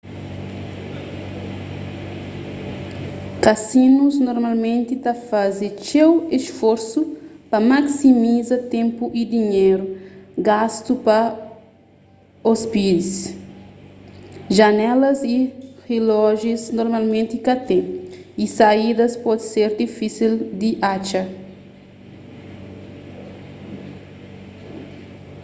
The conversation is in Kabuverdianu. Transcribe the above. kasinus normalmenti ta faze txeu isforsu pa maksimiza ténpu y dinhéru gastu pa ôspidis janelas y rilójius normalmenti ka ten y saídas pode ser difísil di atxa